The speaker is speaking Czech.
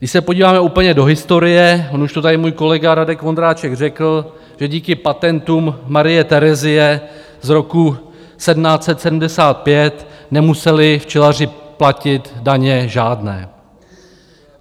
Když se podíváme úplně do historie, on už to tady můj kolega Radek Vondráček řekl, že díky patentům Marie Terezie z roku 1775 nemuseli včelaři platit daně žádné.